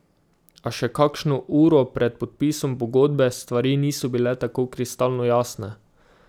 A še kakšno uro pred podpisom pogodbe stvari niso bile tako kristalno jasne.